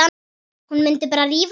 Hún mundi bara rífa hana.